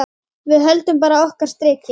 Við höldum bara okkar striki.